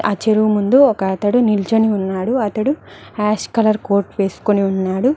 ఆ చెరువు ముందు ఒక అతడు నిలుచొని ఉన్నాడు అతడు యాష్ కలర్ కోట్ వేసుకొని ఉన్నాడు.